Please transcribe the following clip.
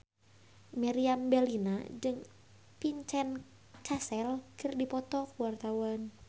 Meriam Bellina jeung Vincent Cassel keur dipoto ku wartawan